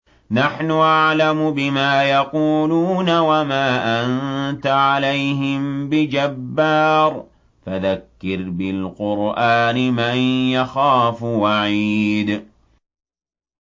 نَّحْنُ أَعْلَمُ بِمَا يَقُولُونَ ۖ وَمَا أَنتَ عَلَيْهِم بِجَبَّارٍ ۖ فَذَكِّرْ بِالْقُرْآنِ مَن يَخَافُ وَعِيدِ